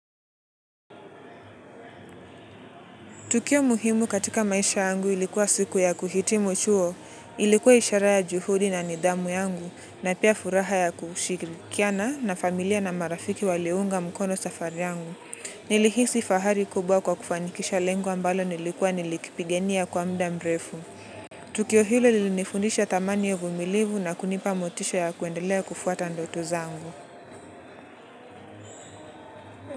Tukio muhimu katika maisha yangu ilikuwa siku ya kuhitimu chuo, ilikuwa ishara ya juhudi na nidhamu yangu na pia furaha ya kushiri. Kiana na familia na marafiki waliunga mkono safari yangu. Nilihisi fahari kubwa kwa kufanikisha lengo ambalo nilikuwa nilikipigania kwa mda mrefu. Tukio hilo lilinifundisha thamani ya uvumilivu na kunipa motisha ya kuendelea kufuata ndoto zangu.